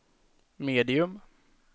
medium